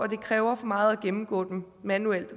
det kræver for meget at gennemgå dem manuelt og